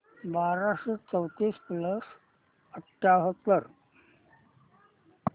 बाराशे चौतीस प्लस अठ्याहत्तर